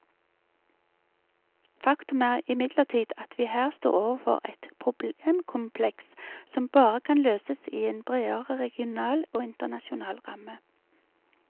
Faktum er imidlertid at vi her står overfor et problemkompleks som bare kan løses i en bredere regional og internasjonal ramme.